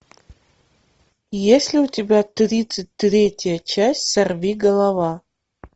есть ли у тебя тридцать третья часть сорви голова